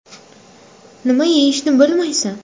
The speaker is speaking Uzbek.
Nima yeyishni bilmaysan.